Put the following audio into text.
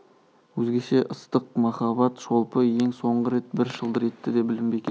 өзгеше ыстық қымбат шолпы ең соңғы рет бір шылдыр етті де білінбей кетті